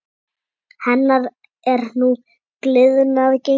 Hennar er nú gliðnað gengi.